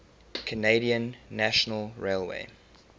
canadian national railway